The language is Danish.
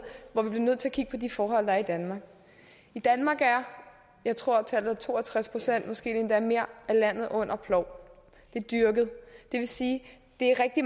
hvor vi bliver nødt til at kigge på de forhold der er i danmark i danmark er jeg tror tallet er to og tres pct måske er det endda mere af landet under plov det er dyrket det vil sige det er rigtig